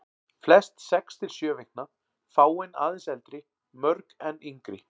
Flest sex til sjö vikna, fáein aðeins eldri, mörg enn yngri.